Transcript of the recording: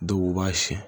Dɔw b'a siyɛn